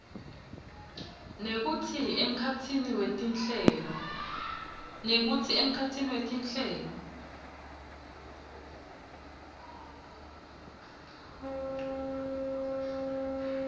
nekutsi emkhatsini wetinhlelo